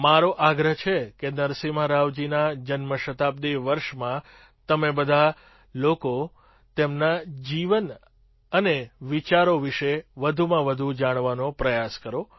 મારો આગ્રહ છે કે નરસિમ્હા રાવજીના જન્મ શતાબ્દિ વર્ષમાં તમે બધા લોકો તેમના જીવન અન વિચારો વિશે વધુમાં વધુ જાણવાનો પ્રયાસ કરો